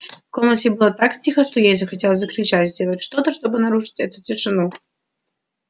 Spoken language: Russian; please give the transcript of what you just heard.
в комнате было так тихо что ей захотелось закричать сделать что-то чтобы нарушить эту тишину